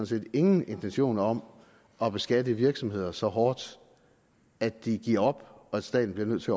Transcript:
set ingen intentioner om at beskatte virksomheder så hårdt at de giver op og at staten bliver nødt til